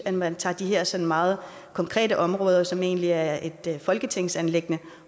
at man tager de her sådan meget konkrete områder som egentlig er et folketingsanliggende